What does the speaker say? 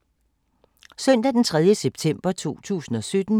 Søndag d. 3. september 2017